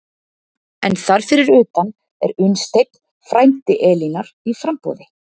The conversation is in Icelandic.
En þar fyrir utan er Unnsteinn, frændi Elínar, í framboði.